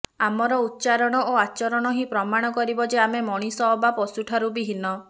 ଆମର ଉଚ୍ଚାରଣ ଓ ଆଚରଣ ହିଁ ପ୍ରମାଣ କରିବ ଯେ ଆମେ ମଣିଷ ଅବା ପଶୁଠାରୁ ବି ହୀନ